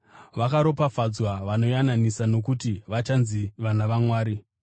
Vakaropafadzwa vanoyananisa nokuti vachanzi vana vaMwari.